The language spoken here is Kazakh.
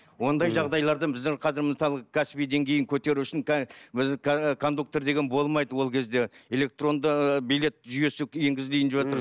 ондай жағдайлардан біздің қазір мысалы кәсіби деңгейін көтеру үшін кондукторлар деген болмайды ол кезде электоронды билет жүйесі ензгізілейін деватыр